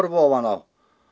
ofan á